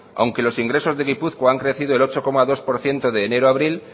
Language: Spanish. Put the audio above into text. aunque los ingresos de gipuzkoa han crecido el ocho coma dos por ciento de enero a abril